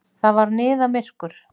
Það var niðamyrkur.